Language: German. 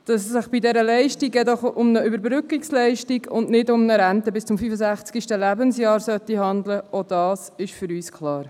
Dass es sich bei dieser Leistung um eine Überbrückungsleistung und nicht um eine Rente bis zum 65. Lebensjahr handeln sollte, ist für uns auch klar.